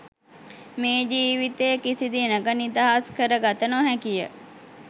මේ ජීවිතය කිසිදිනක නිදහස් කරගත නොහැකි ය